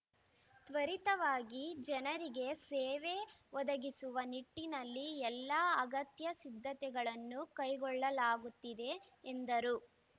ತ್ವರಿತವಾಗಿ ಜನರಿಗೆ ಸೇವೆ ಒದಗಿಸುವ ನಿಟ್ಟಿನಲ್ಲಿ ಎಲ್ಲ ಅಗತ್ಯ ಸಿದ್ಧತೆಗಳನ್ನು ಕೈಗೊಳ್ಳಲಾಗುತ್ತಿದೆ ಎಂದರು